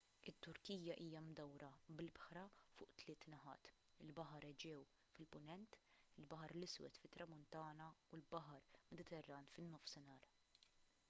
it-turkija hija mdawra bl-ibħra fuq tliet naħat il-baħar eġew fil-punent il-baħar l-iswed fit-tramuntana u l-baħar mediterran fin-nofsinhar